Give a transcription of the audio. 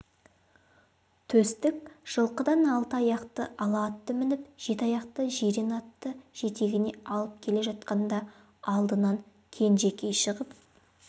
төстік жылқыдан алты аяқты ала атты мініп жеті аяқты жирен атты жетегіне алып келе жатқанда алдынан кенжекей шығып